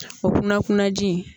O kunna kunnaji in